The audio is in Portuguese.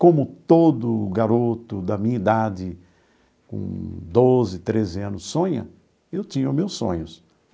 Como todo garoto da minha idade com doze, treze anos sonha, eu tinha os meus sonhos.